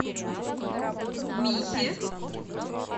михе